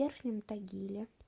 верхнем тагиле